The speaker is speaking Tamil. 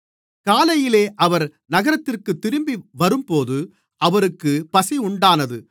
காலையிலே அவர் நகரத்திற்குத் திரும்பிவரும்போது அவருக்குப் பசியுண்டானது